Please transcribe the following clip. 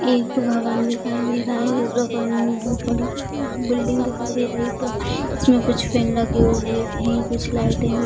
यह एक भवन दिखाई दे रहा है जो बहुत बड़ी बिल्डिंग दिखाई दे रही है पूरा उसमें कुछ फैन लगी हुई है कुछ लाइटें भी।